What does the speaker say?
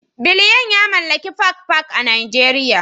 Biliyan ya mallaki Park Park a Najeriya